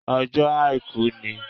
Ọjó àìkú ni